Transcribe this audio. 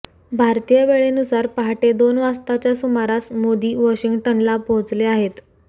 भारतीय वेळेनुसार पहाटे दोन वाजताच्या सुमारास मोदी वॉशिंगटनला पोहचले आहेत